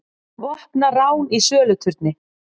Vopnað rán í söluturni